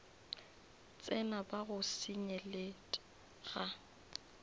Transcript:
tsena ba o senyelet ga